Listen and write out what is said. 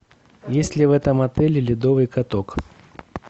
есть ли в этом отеле ледовый каток